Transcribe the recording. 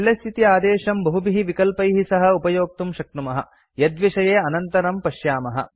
LS इति आदेशं बहुभिः विकल्पैः सह उपयोक्तुं शक्नुमः यद्विषये अनन्तरं पश्यामः